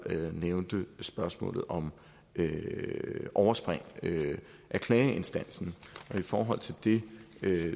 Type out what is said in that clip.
nævnte spørgsmålet om overspring af klageinstansen og i forhold til det